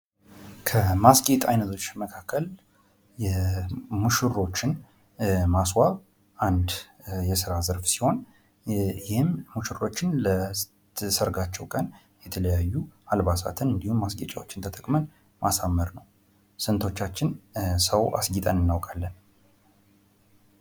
ከማስጌጥ አይነቶች መካከል ሙሽሮችን ማስዋብ አንድ የስራ ዘርፍ ሲሆን ይህም ሙሽሮችን ለሰርጋቸዉ ቀን የተለያዩ አልባሳትን እንዲሁም ማስጌጫዎችን ተጠቅመን ማሳመር ነዉ። ስንቶቻችን ሰዉ አስጊጠን እናዉቃለን?